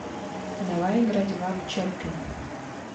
давай играть в апп чаппи